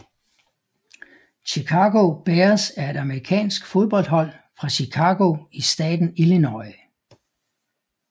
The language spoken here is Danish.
Chicago Bears er et amerikansk fodboldhold fra Chicago i staten Illinois